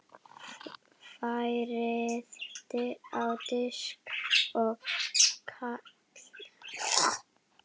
Færið á disk og kælið.